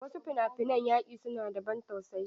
Wasu fina-finan yaki su na da ban tausayi.